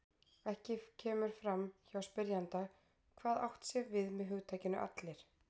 Ekki kemur fram hjá spyrjanda hvað átt sé við með hugtakinu allir.